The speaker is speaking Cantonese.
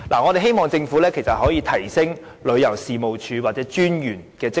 我們希望政府可以提升旅遊事務署或有關專員的職能。